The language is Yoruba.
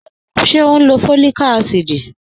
Ṣẹ̀ o n lọ́ fọ́líìkà àsídì?